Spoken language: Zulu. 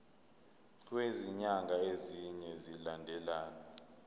kwezinyanga ezine zilandelana